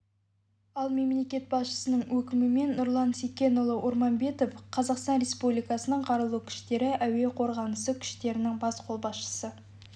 ал мемлекет басшысының өкімімен нұрлан секенұлы орманбетов қазақстан республикасының қарулы күштері әуе қорғанысы күштерінің бас қолбасшысы